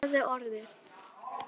Það er orðið.